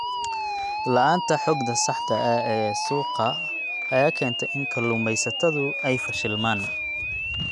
La'aanta xogta saxda ah ee suuqa ayaa keenta in kalluumaysatadu ay fashilmaan.